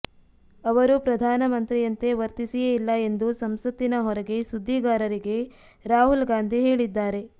ಅವರು ಪ್ರಧಾನಮಂತ್ರಿಯಂತೆ ವರ್ತಿಸಿಯೇ ಇಲ್ಲ ಎಂದು ಸಂಸತ್ತಿನ ಹೊರಗೆ ಸುದ್ದಿಗಾರರಿಗೆ ರಾಹುಲ್ ಗಾಂಧಿ ಹೇಳಿದ್ದಾರೆ